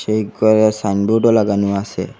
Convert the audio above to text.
এই ঘরে সাইনবোর্ডও লাগানো আসে।